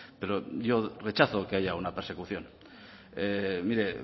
pero yo rechazo que haya una persecución mire